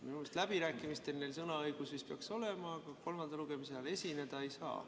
Minu arust läbirääkimistel neil sõnaõigus vist peaks olema, aga kolmanda lugemise ajal esineda ei saa.